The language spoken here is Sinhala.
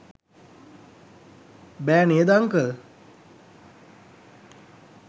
බෑ නේද අංකල්?